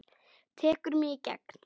Tekur mig í gegn.